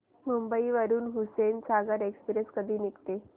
मुंबई वरून हुसेनसागर एक्सप्रेस कधी निघते